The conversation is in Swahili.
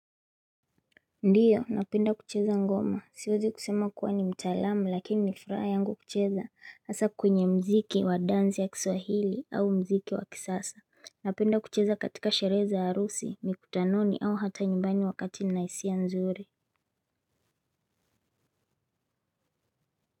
Ndiyo napenda kucheza ngoma siwezi kusema kuwa ni mtaalamu lakini ni furaha yangu kucheza hasa kwenye muziki wa dansi ya kiswahili au mziki wa kisasa napenda kucheza katika sherehe za harusi mikutanoni au hata nyimbani wakati nina hisia nzuri.